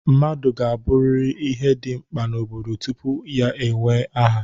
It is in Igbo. Mmadụ ga-abụrịrị ihe dị mkpa n'obodo tupu ya ewee aha